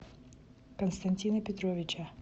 константина петровича